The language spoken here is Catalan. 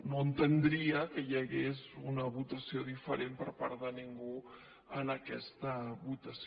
no entendria que hi hagués una votació diferent per part de ningú en aquesta votació